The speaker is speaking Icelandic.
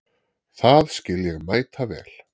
Það skil ég mæta vel.